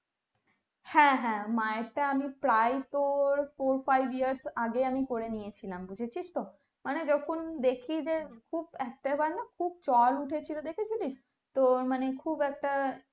হ্যাঁ হ্যাঁ মায়েরটা আমি প্রায় তোর four five years আগেই আমি করেনিয়েছিলাম বুঝেছিস তো মানে যখন দেখি যে খুব একটাবারনা খুব চল উঠেছিল দেখেছিলিস তো মানে খুব একটা